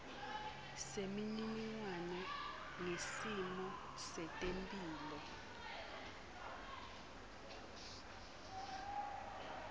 semininingwane ngesimo setemphilo